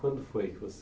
Quando foi que você...